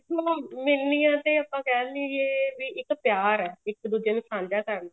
ਮਿਲਣੀਆਂ ਤੇ ਆਪਾਂ ਕਹਿਦੀਏ ਵੀ ਇੱਕ ਪਿਆਰ ਹੈ ਇੱਕ ਦੁੱਜੇ ਨੂੰ ਸਾਂਝਾ ਕਰਨ ਦਾ